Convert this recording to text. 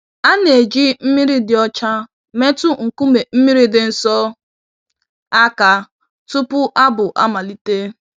A na-eji mmiri dị ọcha metụ nkume mmiri dị nsọ àkà tupu abụ amalite.